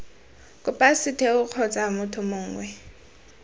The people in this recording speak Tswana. kopa setheo kgotsa motho mongwe